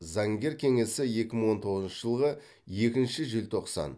заңгер кеңесі екі мың он тоғызыншы жылғы екінші желтоқсан